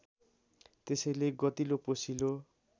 त्यसैले गतिलो पोसिलो